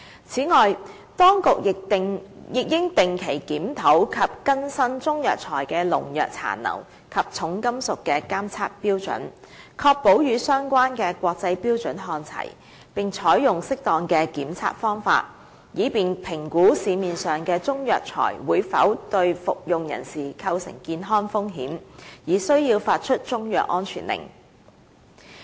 此外，當局亦應定期檢討及更新中藥材的農藥殘留及重金屬的監測標準，確保與相關的國際標準看齊，並採用適當的檢測方法，以便評估市面上的中藥材會否對服用人士構成健康風險，而須發出中藥安全令。